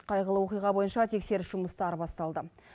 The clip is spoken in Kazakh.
қайғылы оқиға бойынша тексеріс жұмыстары басталды